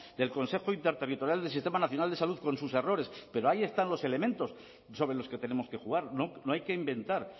del consejo interterritorial del sistema nacional de salud con sus errores pero ahí están los elementos sobre los que tenemos que jugar no hay que inventar